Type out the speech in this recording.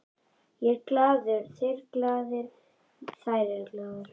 Ég er glaður, þeir eru glaðir, þær eru glaðar.